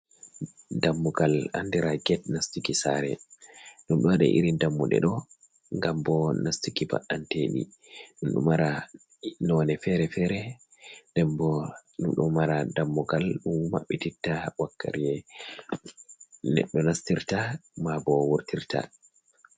Dammugal andira get nastiki sare, ɗum ɗon waɗa irin dammuɗeɗo ngam bo nastuki ba'anteɗi ɗum ɗo mara none fere-fere, ɗum ɗo mara dammugal mabɓititta wakkere nedɗo nastirta ma bo wurtirta